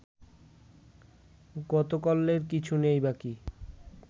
গতকল্যের কিছু নেই বাকি